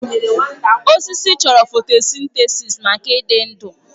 Osisi chọrọ fotosintesis maka ịdị ndụ.